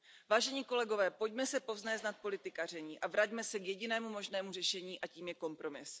Vážení kolegové, pojďme se povznést nad politikaření a vraťme se k jedinému možnému řešení, a tím je kompromis.